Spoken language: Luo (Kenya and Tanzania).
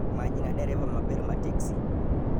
Manyna dereva maber ma teksi